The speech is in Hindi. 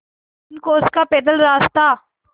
तीन कोस का पैदल रास्ता